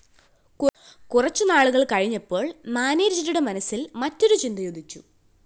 കുറച്ചു നാളുകള്‍ കഴിഞ്ഞപ്പോള്‍ മാനേജരുടെ മനസ്സില്‍ മറ്റൊരു ചിന്തയുദിച്ചു